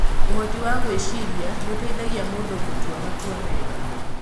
Ũhoti wa gwĩciria nĩ ũteithagia mũndũ gũtua matua mega.